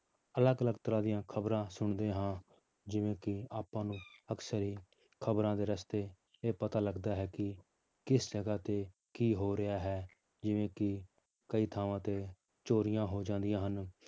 ਅਲੱਗ ਅਲੱਗ ਤਰ੍ਹਾਂ ਦੀਆਂ ਖ਼ਬਰਾਂ ਸੁਣਦੇ ਹਾਂ ਜਿਵੇਂ ਕਿ ਆਪਾਂ ਨੂੰ ਅਕਸਰ ਹੀ ਖ਼ਬਰਾਂ ਦੇ ਰਸਤੇ ਇਹ ਪਤਾ ਲੱਗਦਾ ਹੈ ਕਿ ਕਿਸ ਜਗ੍ਹਾ ਤੇ ਕੀ ਹੋ ਰਿਹਾ ਹੈ ਜਿਵੇਂ ਕਿ ਕਈ ਥਾਵਾਂ ਤੇ ਚੋਰੀਆਂ ਹੋ ਜਾਂਦੀਆਂ ਹਨ।